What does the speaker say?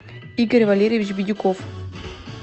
игорь валерьевич бидюков